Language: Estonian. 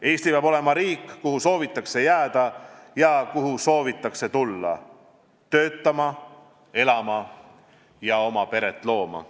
Eesti peab olema riik, kuhu soovitakse jääda ja kuhu soovitakse tulla – töötama, elama, peret looma.